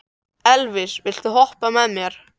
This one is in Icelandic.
Elvis, viltu hoppa með mér?